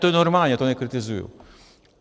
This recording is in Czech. To je normální, to nekritizuji.